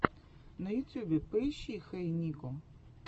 на ютьюбе поищи хэй нико